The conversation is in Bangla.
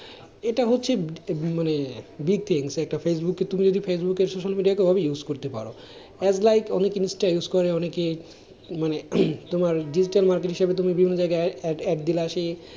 এটা হচ্ছে মানে একটা ফেসবুকে তুমি যদি social media কে কিভাবে use করতে পারো, as like অনেক insta use করে অনেকেই মানে তোমার digital market হিসেবে বিভিন্ন জায়গায় add দিলা সেই,